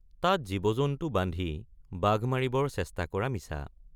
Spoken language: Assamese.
তাত জীৱজন্তু বান্ধি বাঘ মাৰিবৰ চেষ্টা কৰা মিছা।